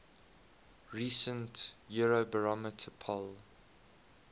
recent eurobarometer poll